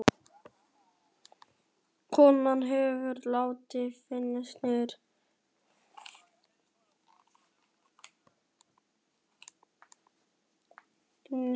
Konan hefur látið fallast niður í hægindastól inni í herberginu.